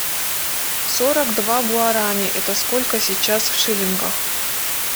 сорок два гуарани это сколько сейчас в шиллингах